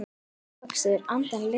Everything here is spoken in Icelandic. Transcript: Ávextir andans leiða söng.